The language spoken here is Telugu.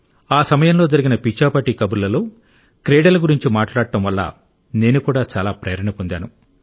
ఆ సమయంలో జరిగిన పిచ్చాపాటీ కబుర్లలో క్రీడల గురించి మాట్లాడటం వల్ల నేను కూడా చాలా ప్రేరణ పొందాను